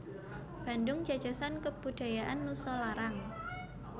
Bandung Jajasan Kebudajaan Nusalarang